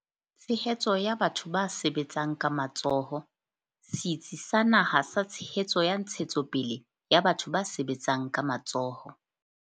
Tshehetso ya batho ba sebetsang ka matsoho, Setsi sa Naha sa Tshehetso ya Ntshetsopele ya Batho ba Sebetsang ka Matsoho.